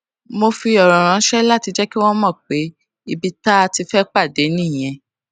mo sì fi òrò ránṣé láti jé kí wón mò pé ibi tá a ti fé pàdé nìyẹn